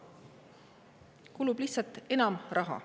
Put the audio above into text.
Kulub lihtsalt enam raha.